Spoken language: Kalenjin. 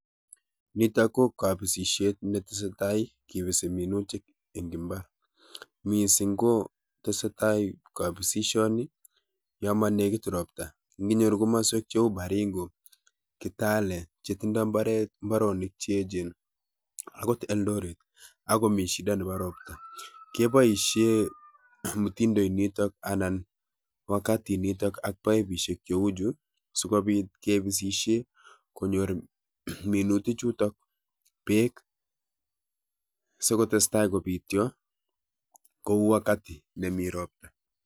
Nitok ko kabisisiet netesetai kibisi minutik eng imbar. Missing ko tesetai kabisisioni yo monekit robta. Nginyoru komaswek cheu Baringo, Kitale chetindoi mbaret mbaronik che echen agot Eldoret agomi shida nebo robta, keboisie mutindo initok anan wakati initok ak paipisiek cheu chu sigobit kebisisie konyor minutichutok beek sokotestai kobitio kou wakati nemi robta.